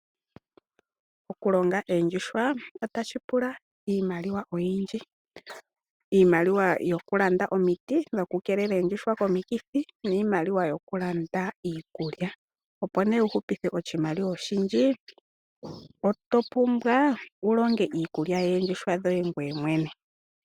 Okumuna oondjuhwa otashi pula iimaliwa oyindji yokulanda omiti dhokukeelela oondjuhwa komikithi oshowo iikulya. Opo wu hupithe oshimaliwa oshindji oto pumbwa wu longe iikulya yoondjuhwa dhoye ngoye mwene.